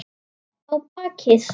Á bakið.